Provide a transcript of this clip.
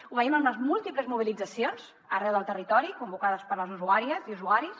ho veiem en les múltiples mobilitzacions arreu del territori convocades per les usuàries i usuaris